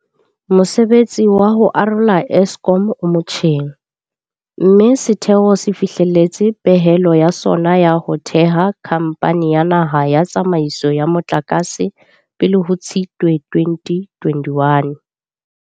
Mosebetsi wa ho arola Eskom o motjheng, mme setheo se fihlelletse pehelo ya sona ya ho theha Khamphani ya Naha ya Tsa maiso ya Motlakase pele ho Tshitwe 2021.